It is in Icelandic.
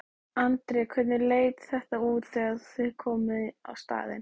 Andri: Hvernig leit þetta út þegar þið komuð á staðinn?